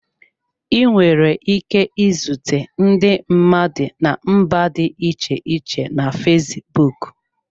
Ị nwere ike izute ndị mmadụ na mba dị iche iche na fesbụụk.